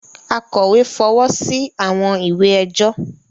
Akọ̀wé fọwọ́ sí àwọn ìwé ẹjọ́